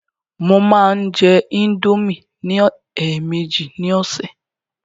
Mo máa ń jẹ indomie ní èèmejì ní ọ̀sẹ̀.